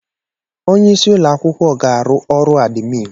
Onye isi ụlọ akwụkwọ ga-arụ ọrụ adimin.